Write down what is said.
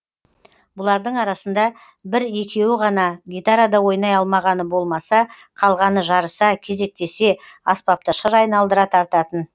бұлардың арасында бір екеуі ғана гитарада ойнай алмағаны болмаса қалғаны жарыса кезектесе аспапты шыр айналдыра тартатын